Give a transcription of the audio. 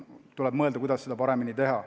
Tuleb mõelda, kuidas seda paremini teha.